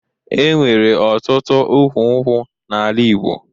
E nwere ọtụtụ ukwu nkwụ n'ala Igbo